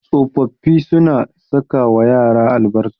Tsofaffi suna sakawa yara albarka.